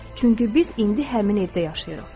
Çünki biz indi həmin evdəyik.